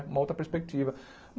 Uma outra perspectiva.